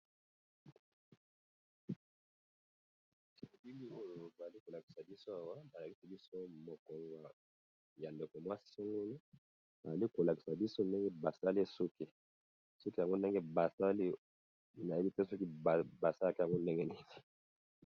Elili oyo bazali kolakisa biso awa balakisi biso mutu ya ndeko mwasi songolo, bazali kolakisa biso ndenge basali suki, suki yango ndenge basali nayebi te soki basalaka yango ndenge nini.